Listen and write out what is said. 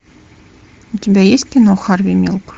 у тебя есть кино харви милк